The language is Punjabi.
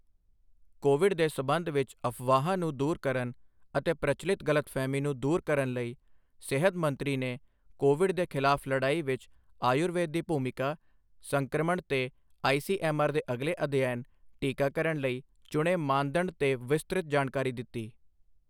ਕੋਵਿਡ ਦੇ ਸੰਬਧ ਵਿੱਚ ਅਫਵਾਹਾਂ ਨੂੰ ਦੂਰ ਕਰਨ ਅਤੇ ਪ੍ਰਚੱਲਿਤ ਗਲਤਫਹਮੀ ਨੂੰ ਦੂਰ ਕਰਨ ਲਈ, ਸਿਹਤ ਮੰਤਰੀ ਨੇ ਕੋਵਿਡ ਦੇ ਖ਼ਿਲਾਫ਼ ਲੜਾਈ ਵਿੱਚ ਆਯੁਰਵੇਦ ਦੀ ਭੂਮਿਕਾ, ਸੰਕ੍ਰਮਣ ਤੇ ਆਈਸੀਐੱਮਆਰ ਦੇ ਅਗਲੇ ਅਧਿਐਨ, ਟੀਕਾਕਰਨ ਲਈ ਚੁਣੇ ਮਾਨਦੰਡ ਤੇ ਵਿਸਤ੍ਰਤ ਜਾਣਕਾਰੀ ਦਿੱਤੀ।